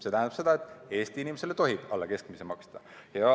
See tähendab seda, et Eesti inimesele tohib alla keskmise maksta.